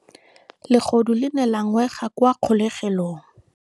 Legodu le ne la ngwega kwa kgolegelong.